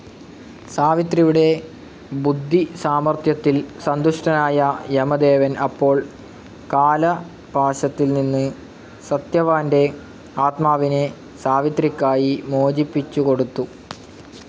സാവിത്രിയുടെ ബുദ്ധിസാമർത്ഥ്യത്തിൽ സന്തുഷ്ടനായ യമദേവൻ അപ്പോൾ കാലപാശത്തിൽനിന്ന് സത്യവാൻ്റെ ആത്മാവിനെ സാവിത്രിക്കായി മോചിപ്പിച്ചുകൊടുത്തു.